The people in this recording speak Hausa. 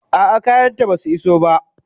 A'a, kayanta basu iso ba.